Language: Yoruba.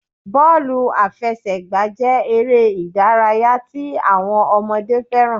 Bọ́ọ̀lù àfẹsẹ̀gbá jé eré ìdárayá tí àwọn ọmọdé fẹ́ràn